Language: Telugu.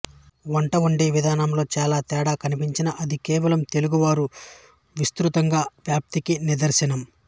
వంట వండే విధానంలో చాలా తేడా కనిపించినా అది కేవలం తెలుగు వారు విస్తృతంగా వ్యాప్తికి నిదర్శనం